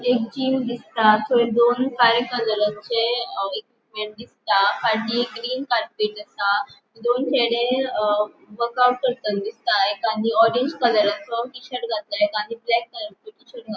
एक जिम दिसता थंय दोन काळे कलरचे इक्विपमेंट्स दिसता फाटी ग्रीन कार्पेट आसा दोन चेड़े अ वर्क आउट करताना दिसता एकान ऑरेंज कलरचो टि-शर्ट घातला एकान ब्लॅक कलरचो टि-शर्ट घातला.